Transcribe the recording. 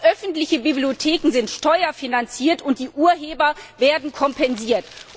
Aber öffentliche Bibliotheken sind steuerfinanziert, und die Urheber werden kompensiert.